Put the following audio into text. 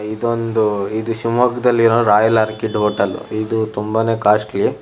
ಇದೊಂದು ಇದು ಶಿಮೊಗ್ಗದಲ್ಲಿರೋ ರಾಯಲ್ ಆರ್ಕಿಡ್ ಹೋಟೆಲ್ ಇದು ತುಂಬಾನೇ ಕಾಸ್ಟ್ಲಿ --